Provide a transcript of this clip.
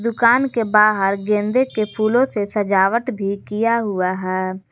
दुकान के बाहर गेंदे के फूलों से सजावट भी किया हुआ है।